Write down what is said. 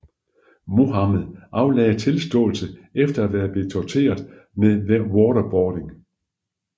Mohammed aflagde tilståelse efter at være blevet tortureret med waterboarding